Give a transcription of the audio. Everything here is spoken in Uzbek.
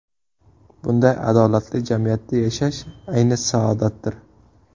Bunday adolatli jamiyatda yashash ayni saodatdir.